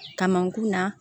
Kamankun na